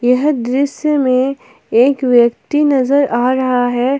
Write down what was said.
यह दृश्य में एक व्यक्ति नजर आ रहा है।